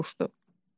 deyə soruşdu.